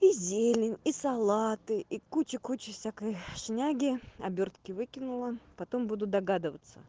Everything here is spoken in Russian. и зелень и салаты и куча куча всякой шняги обёртки выкинула потом буду догадываться